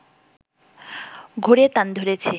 ঘুরে তান ধরেছি